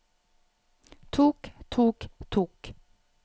tok tok tok